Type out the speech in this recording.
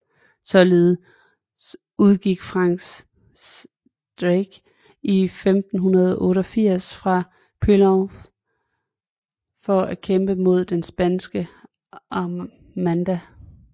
Således udgik Francis Drake i 1588 fra Plymouth for at kæmpe mod den Spanske armada